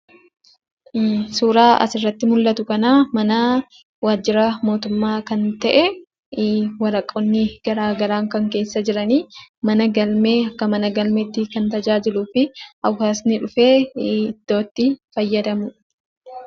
Suuraa asirratti mul'atu kana mana waajjira mootummaa kan ta'ee, waraqoonni garaagaraa kan keessa jirani, mana galmee akka mana galmeetti kan tajaajiluu fi hawaasni dhufee iddoo itti fayyadamuudha.